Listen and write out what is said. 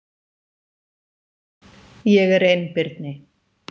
Ég er einbirni.